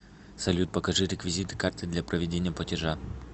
салют покажи реквизиты карты для проведения платежа